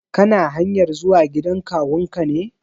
Kana hanyar zuwa gidan kawun ka ne?